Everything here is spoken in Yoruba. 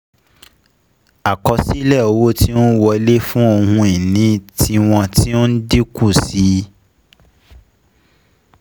Àkosile owo tí ó n wọlé fun ohun ìní tiwọn ti o n dínkù sí i